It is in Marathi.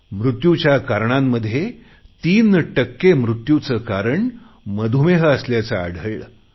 मृत्यूच्या कारणांमधे 3 टक्के मृत्यूचे कारण मधुमेह असल्याचे आढळले